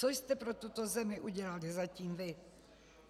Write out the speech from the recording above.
Co jste pro tuto zemi udělali zatím vy?